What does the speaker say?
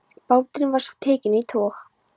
Báturinn var svo tekinn í tog.